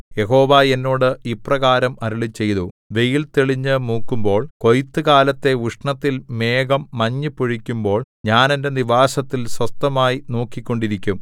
യഹോവ എന്നോട് ഇപ്രകാരം അരുളിച്ചെയ്തു വെയിൽ തെളിഞ്ഞു മൂക്കുമ്പോൾ കൊയ്ത്തുകാലത്തെ ഉഷ്ണത്തിൽ മേഘം മഞ്ഞു പൊഴിക്കുമ്പോൾ ഞാൻ എന്റെ നിവാസത്തിൽ സ്വസ്ഥമായി നോക്കിക്കൊണ്ടിരിക്കും